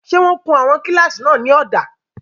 Ṣé wọ́n kun àwọn kílásì náà ní ọ̀dà?